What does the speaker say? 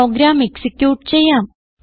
programme execute ചെയ്യാം